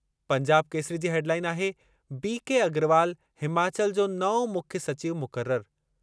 पंजाब केसरी जी हेडलाइन आहे B K Agrawal Himachal जो नओं मुख्य सचिव मुक़रर।